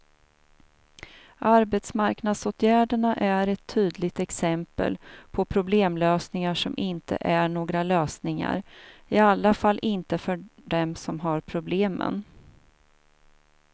Arbetsmarknadsåtgärderna är ett tydligt exempel på problemlösningar som inte är några lösningar, i alla fall inte för dem som har problemen.